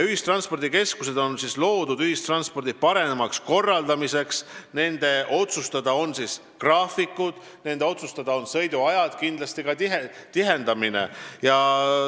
Ühistranspordikeskused on loodud ühistranspordi paremaks korraldamiseks, nende otsustada on graafikud, nende otsustada on sõiduajad, kindlasti ka tihendamine.